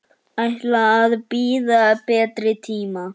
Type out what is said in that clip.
Ætla að bíða betri tíma.